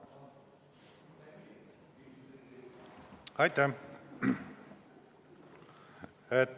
Aitäh!